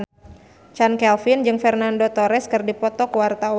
Chand Kelvin jeung Fernando Torres keur dipoto ku wartawan